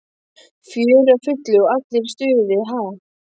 Fjörið á fullu og allir í stuði, ha?